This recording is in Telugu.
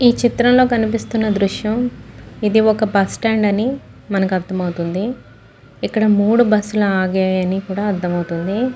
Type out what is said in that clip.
ఈ చిత్రం లో కనిపిస్తున్న దృశ్యం ఇది ఒక బస్ స్టాండ్ అని మనకు అర్దమవుతుంది. ఇక్కడ మూడు బస్ లు ఆగాయి అని కూడా అర్దమవుతుంది.